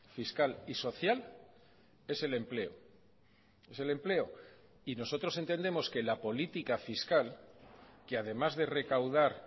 fiscal y social es el empleo es el empleo y nosotros entendemos que la política fiscal que además de recaudar